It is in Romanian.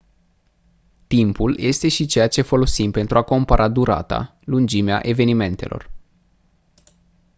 timpul este și ceea ce folosim pentru a compara durata lungimea evenimentelor